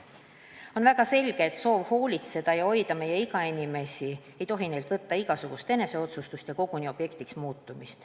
On väga selge, et soov hoolitseda meie eakate inimeste eest ja neid hoida ei tohi neilt võtta igasugust eneseotsustust ja neid koguni objektiks muuta.